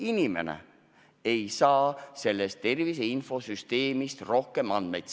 –, et inimene ei saa tervise infosüsteemist rohkem andmeid.